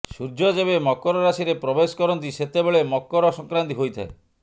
ସୂର୍ଯ୍ୟ ଯେବେ ମକର ରାଶିରେ ପ୍ରବେଶ କରନ୍ତି ସେତେବେଳେ ମକର ସଂକ୍ରାନ୍ତି ହୋଇଥାଏ